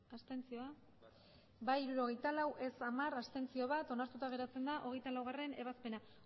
abstenzioak emandako botoak hirurogeita hamabost bai hirurogeita lau ez hamar abstentzioak bat onartuta geratzen da hogeita laugarrena ebazpena